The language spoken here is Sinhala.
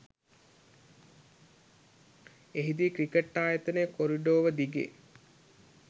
එහිදී ක්‍රිකට්‌ ආයතන කොරිඩෝව දිගේ